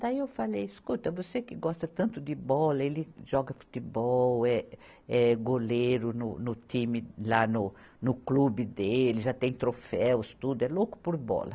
Daí eu falei, escuta, você que gosta tanto de bola, ele joga futebol, é, é goleiro no, no time, lá no, no clube dele, já tem troféus, tudo, é louco por bola.